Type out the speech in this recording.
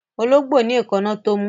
Ológbò ní èkáná tó mú